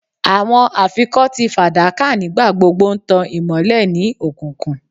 Awọn afikọti fadaka nigbagbogbo n tan imọlẹ ni okunkun